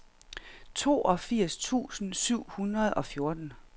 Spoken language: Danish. toogfirs tusind syv hundrede og fjorten